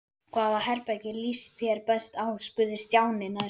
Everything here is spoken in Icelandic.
Hvaða herbergi líst þér best á? spurði Stjáni næst.